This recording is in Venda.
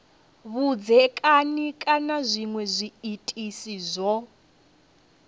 vhudzekani kana zwinwe zwiitisi zwo